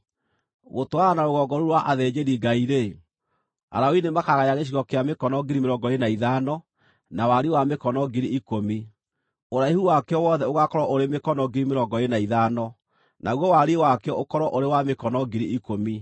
“Gũtwarana na rũgongo rũu rwa athĩnjĩri-Ngai-rĩ, Alawii nĩmakagaya gĩcigo kĩa mĩkono 25,000, na wariĩ wa mĩkono 10,000. Ũraihu wakĩo wothe ũgaakorwo ũrĩ mĩkono 25,000, naguo wariĩ wakĩo ũkorwo ũrĩ wa mĩkono 10,000.